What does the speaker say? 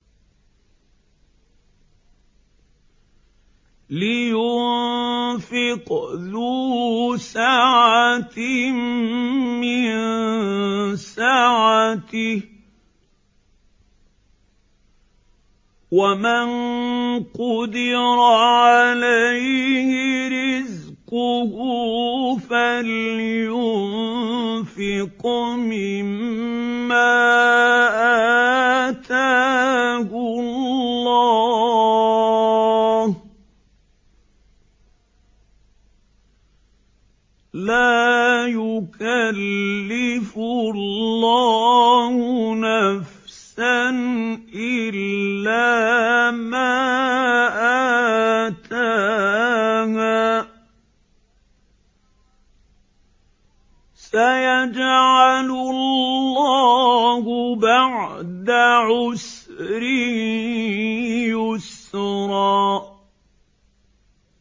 لِيُنفِقْ ذُو سَعَةٍ مِّن سَعَتِهِ ۖ وَمَن قُدِرَ عَلَيْهِ رِزْقُهُ فَلْيُنفِقْ مِمَّا آتَاهُ اللَّهُ ۚ لَا يُكَلِّفُ اللَّهُ نَفْسًا إِلَّا مَا آتَاهَا ۚ سَيَجْعَلُ اللَّهُ بَعْدَ عُسْرٍ يُسْرًا